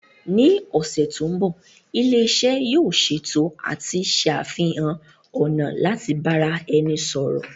Ní ọ̀sẹ̀ tó ń bọ̀, ilé iṣẹ́ yóò ṣètò àti ṣàfihàn ọ̀nà láti bára ẹni sọ̀rọ̀